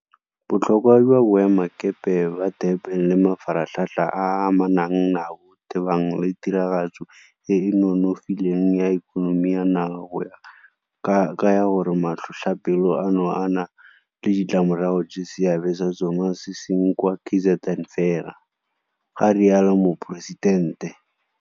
Botlhokwa jwa Boemelakepe ba Durban le mafaratlhatlha a a amanang nabo tebang le tiragatso e e nonofileng ya ikonomi ya naga go kaya gore matlhotlhapelo ano a na le ditlamorago tse seabe sa tsona se seng kwa KZN fela, ga rialo Moporesidente.